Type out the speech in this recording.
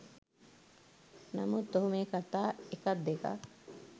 නමුත් ඔහු මේ කතා එකක් දෙකක්